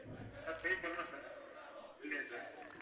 sir pay பண்ணேன் sir, இல்லையா sir?